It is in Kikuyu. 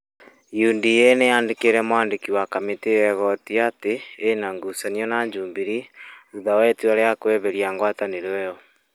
UDA nĩ yandĩkĩire mwandĩki wa kamĩtĩ ya igooti atĩ nĩ ĩna ngucanio na Jubilee thutha wa itua rĩa kweheria ngwatanĩro ĩyo.